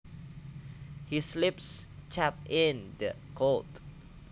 His lips chapped in the cold